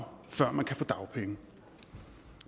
før man kan få dagpenge